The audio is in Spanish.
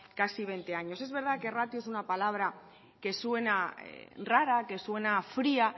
casi veinte años es verdad que ratio es una palabra que suena rara que suena fría